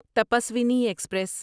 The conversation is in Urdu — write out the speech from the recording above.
تپسوینی ایکسپریس